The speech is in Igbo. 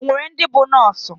Enwere ndi bu nọọsụ.